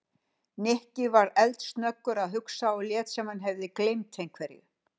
Nikki var eldsnöggur að hugsa og lét sem hann hefði gleymt einhverju.